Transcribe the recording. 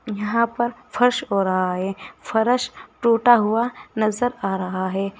यहां पर फर्श हो रहा है फर्श टूटा हुआ नजर आ रहा है।